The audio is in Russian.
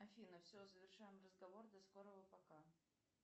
афина все завершаем разговор до скорого пока